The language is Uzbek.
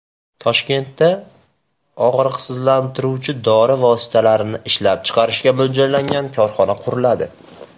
Toshkentda og‘riqsizlantiruvchi dori vositalarini ishlab chiqarishga mo‘ljallangan korxona quriladi.